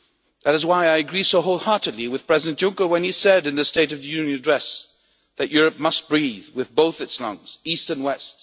That is why I agree so wholeheartedly with President Juncker when he said, in the State of the Union address, that Europe must breathe with both its lungs, East and West.